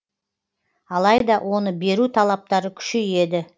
алайда оны беру талаптары күшейеді